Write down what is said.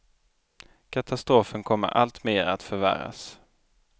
Katastrofen kommer allt mer att förvärras.